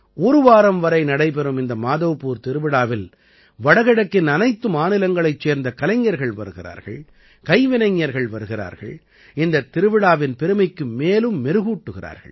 ஒரு வாரம் வரை நடைபெறும் இந்த மாதவ்பூர் திருவிழாவில் வடகிழக்கின் அனைத்து மாநிலங்களைச் சேர்ந்த கலைஞர்கள் வருகிறார்கள் கைவினைஞர்கள் வருகிறார்கள் இந்தத் திருவிழாவின் பெருமைக்கு மேலும் மெருகூட்டுகிறார்கள்